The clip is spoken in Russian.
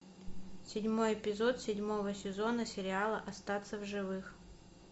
седьмой эпизод седьмого сезона сериала остаться в живых